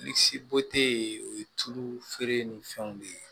ye o ye tulu feere ni fɛnw de ye